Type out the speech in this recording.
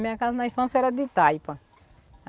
Minha casa na infância era de taipa.